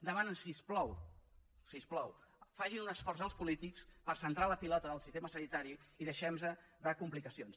demanen si us plau si us plau facin un esforç el polítics per centrar la pilota del sistema sanitari i deixem nos de complicacions